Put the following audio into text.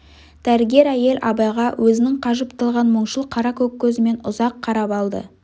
дәрігер әйел абайға өзінің қажып талған мұңшыл қаракөк көзімен ұзақ қарап алды